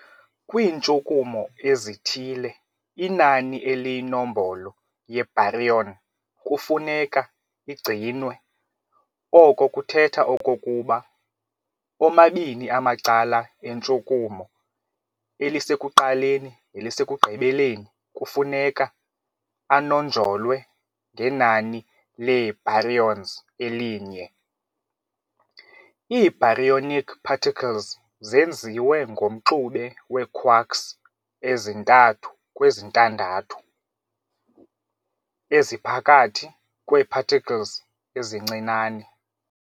Kwiintshukumo ezithile, inani eliyinombolo ye-Baryon kufuneka igcinwe, oko kuthetha okokuba omabini amacala entshukumo, elisekuqaleni nelisekugqibeleni kufuneka anonjolwe ngenani lee-Baryons elinye. Ii- Baryonic particles zenziwe ngomxube we-quarks ezi-3 kweziNtandathu, eziphakathi kwee-particles ezincinane.